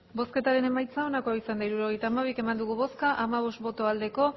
hirurogeita hamabi eman dugu bozka hamabost bai